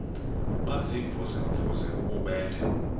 baziimvuze mvuze bububele